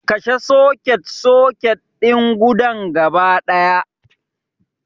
Kashe soket-soket din gudan gaba ɗaya